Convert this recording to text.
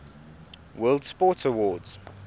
world sports awards